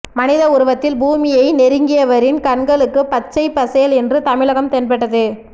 மனித உருவத்தில் பூமியை நெருங்கியவரின் கண்களுக்குப் பச்சைப் பசேல் என்று தமிழகம் தென்பட்டது